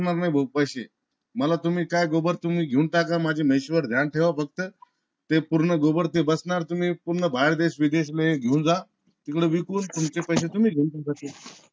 मागणार नाय भो पैसे मला काय तुम्ही घेऊन टाका. माझ्या म्हैशी वर तुम्ही ध्यान ठेवा फक्त ते पूर्ण बचणार ते तुम्ही पूर्ण बाहेर देश विदेश ले घेऊन जा. तिकड विकून तुमचे पैसे तुम्ही घेऊन